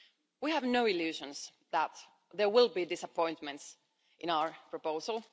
We have no illusions that there will be disappointments in our proposal.